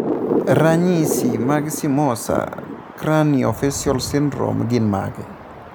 Ranyisi mag Simosa cranio facial syndrome gin mage?